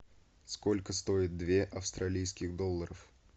сколько стоит две австралийских долларов